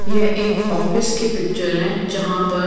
यह एक ऑफिस की पिक्चर हैं जहाँ पर--